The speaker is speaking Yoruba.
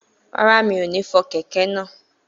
Rárá, mi ò ní fọ kẹ̀kẹ́ náà